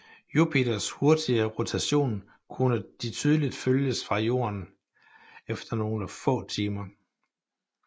Jupiters hurtige rotation kunne de tydeligt følges fra Jorden efter nogle få timer